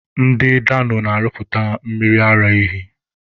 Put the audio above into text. Ndị Dano na-arụpụta mmiri ara ehi.